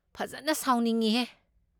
ꯐꯖꯟꯅ ꯁꯥꯎꯅꯤꯡꯢꯍꯦ!